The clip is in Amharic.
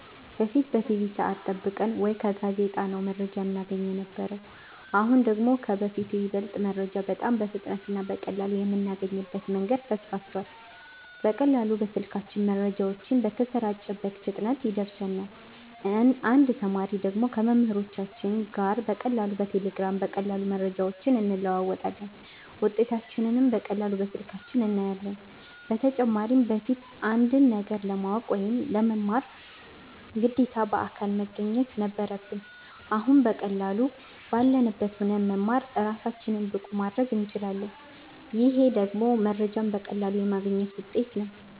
በፊት በቲቪ ሰዐት ጠብቀን ወይ ከጋዜጣ ነው መረጃ እናገኝ የነበረው አሁን ደግሞ ከበፊቱ ይበልጥ መረጃ በጣም በፍጥነት እና በቀላሉ የምናገኝበት መንገድ ሰፍቷል በቀላሉ በስልካችን መረጃው በተሰራጨበት ፍጥነት ይደርሰናል እንደ ተማሪ ደግሞ ከመምህሮቻችን ጋር በቀላሉ በቴሌግራም በቀላሉ መረጃዎችን እንለዋወጣለን ውጤታችንንም በቀላሉ በስልካችን እናያለን በተጨማሪም በፊት አንድን ነገር ለማወቅ ወይ ለመማር ግዴታ በአካል መገኘት ነበረብን አሁን በቀላሉ ባለንበት ሁነን መማር እራሳችንን ብቁ ማረግ እንችላለን ይሄ ደግሞ መረጃዎችን በቀላሉ የማግኘት ውጤት ነው